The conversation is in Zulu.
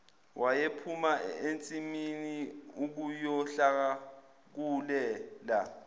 wayephuma ensimini ukuyohlakulela